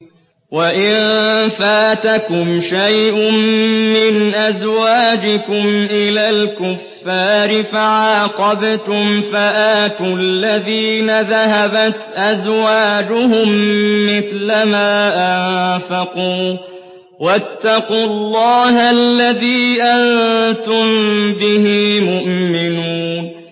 وَإِن فَاتَكُمْ شَيْءٌ مِّنْ أَزْوَاجِكُمْ إِلَى الْكُفَّارِ فَعَاقَبْتُمْ فَآتُوا الَّذِينَ ذَهَبَتْ أَزْوَاجُهُم مِّثْلَ مَا أَنفَقُوا ۚ وَاتَّقُوا اللَّهَ الَّذِي أَنتُم بِهِ مُؤْمِنُونَ